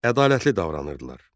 Ədalətli davranırdılar.